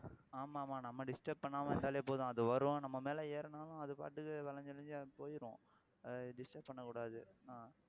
ஆமா ஆமா நம்ம disturb பண்ணாம இருந்தாலே போதும் அது வரும் நம்ம மேல ஏறினாலும் அது பாட்டுக்கு வளைஞ்சு வளைஞ்சு அது போயிடும் ஆஹ் disturb பண்ணக்கூடாது